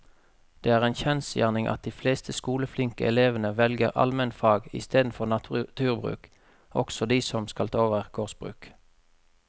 Det er en kjensgjerning at de fleste skoleflinke elevene velger allmennfag i stedet for naturbruk, også de som skal ta over gårdsbruk.